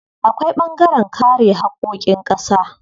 Akwai ɓangaren kare haƙƙoƙin ƙasa.